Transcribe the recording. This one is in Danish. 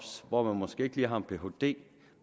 hvor man måske ikke have en phd